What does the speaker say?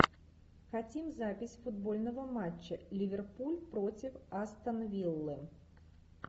хотим запись футбольного матча ливерпуль против астон виллы